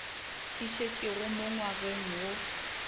e šetšego mo ngwageng go